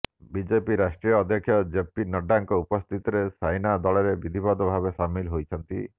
ବିଜେପିର ରାଷ୍ଟ୍ରୀୟ ଅଧ୍ୟକ୍ଷ ଜେପୀ ନଡ୍ଡା ଙ୍କ ଉପସ୍ଥିତିରେ ସାଇନା ଦଳରେ ବିଧିବଦ୍ଧ ଭାବେ ସାମିଲ ହୋଇଛନ୍ତି